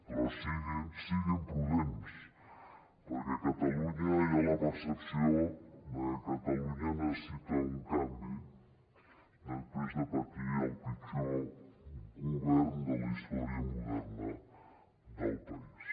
però siguin prudents perquè a catalunya hi ha la percepció de que catalunya necessita un canvi després de patir el pitjor govern de la història moderna del país